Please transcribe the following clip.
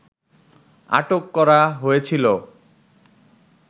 আটক করা হয়েছিল